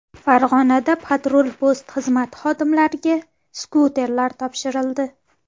Farg‘onada patrul-post xizmati xodimlariga skuterlar topshirildi.